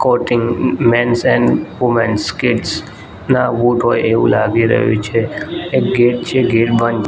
કોટિન mens and womens kids ના boot હોય એવુ લાગી રહ્યુ છે એક ગેટ છે ગેટ બંધ --